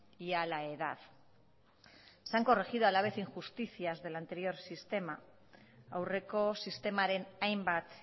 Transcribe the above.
y a la edad se han corregido a la vez injusticias del anterior sistema aurreko sistemaren hainbat